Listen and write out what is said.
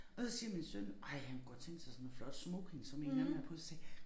Og så siger min søn ej han kunne godt tænke sig sådan noget flot smoking som en eller anden har på så sagde